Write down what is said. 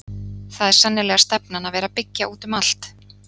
Það er sennilega stefnan að vera byggja út um allt?